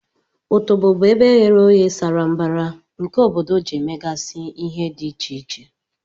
Otobo bu ebe eghe oghe sara mbara nke obodo ji emegasi ihe di iche iche.